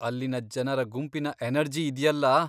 ಅಲ್ಲಿನ ಜನರ ಗುಂಪಿನ ಎನರ್ಜಿ ಇದ್ಯಲ್ಲ!